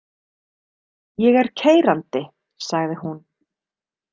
Ég er keyrandi, sagði hún.